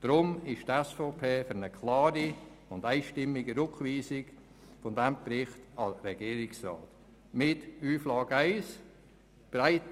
Deshalb ist die SVP für eine klare und einstimmige Rückweisung dieses Berichts an den Regierungsrat, mit folgenden zwei Auflagen: